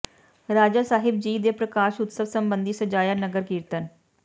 ਰਾਜਾ ਸਾਹਿਬ ਜੀ ਦੇ ਪ੍ਰਕਾਸ਼ ਉਤਸਵ ਸਬੰਧੀ ਸਜਾਇਆ ਨਗਰ ਕੀਰਤਨ